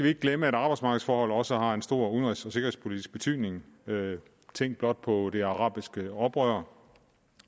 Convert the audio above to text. ikke glemme at arbejdsmarkedsforhold også har en stor udenrigs og sikkerhedspolitisk betydning tænk blot på det arabiske oprør